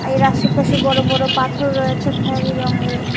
এর আশেপাশে বড় বড় পাথর রয়েছে খয়েরি রঙের।